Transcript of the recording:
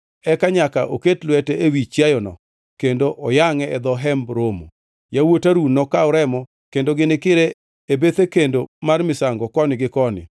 Eka nyaka oket lwete ewi chiayono kendo oyangʼe e dho Hemb Romo. Yawuot Harun nokaw remo, kendo ginikire e bethe kendo mar misango koni gi koni.